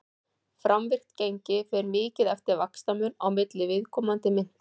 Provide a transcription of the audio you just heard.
framvirkt gengi fer mikið eftir vaxtamun á milli viðkomandi mynta